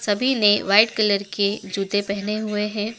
सभी ने white colour के जूते पहने हुए हैं।